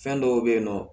Fɛn dɔw be yen nɔ